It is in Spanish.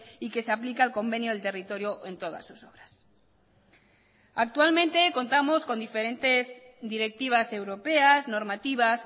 y que se aplica el convenio del territorio en todas sus obras actualmente contamos con diferentes directivas europeas normativas